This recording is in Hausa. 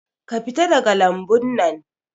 Ka fita daga lambun nan